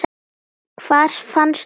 Hvar fannstu þetta?